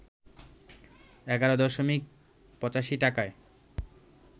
১১ দশমিক ৮৫ টাকায়